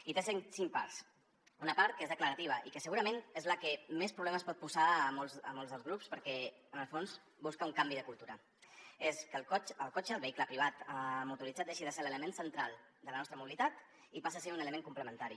i té cinc parts una part que és declarativa i que segurament és la que més problemes pot posar a molts dels grups perquè en el fons busca un canvi de cultura és que el cotxe el vehicle privat motoritzat deixi de ser l’element central de la nostra mobilitat i passi a ser ne un element complementari